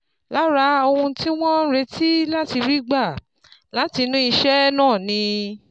Lára ohun tí wọ́n ń retí láti rí gbà látinú iṣẹ́ náà ni